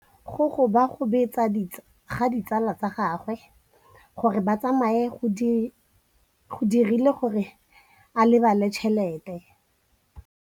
Basadi ba ne ba jela nala kwaa legaeng la batsofe.